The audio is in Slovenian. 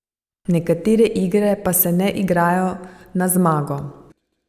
Nekatere igre pa se ne igrajo na zmago.